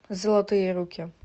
золотые руки